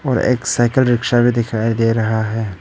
और एक cycle rickshaw भी दिखाई दे रहा है।